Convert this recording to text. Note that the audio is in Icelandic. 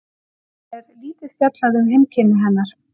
Annars er lítið fjallað um heimkynni hennar.